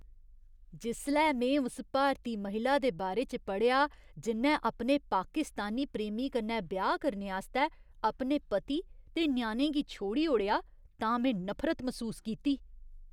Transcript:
जिसलै में उस भारती महिला दे बारे च पढ़ेआ जि'न्नै अपने पाकिस्तानी प्रेमी कन्नै ब्याह् करने आस्तै अपने पति ते ञ्याणें गी छोड़ी ओड़ेआ तां में नफरत मसूस कीती।